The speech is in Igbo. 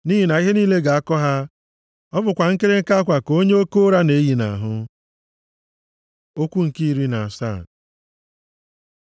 nʼihi na ihe niile ga-akọ ha. Ọ bụkwa nkịrịnka akwa ka onye oke ụra na-eyi nʼahụ. Okwu nke iri na asaa